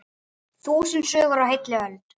Þúsund sögur á heilli öld.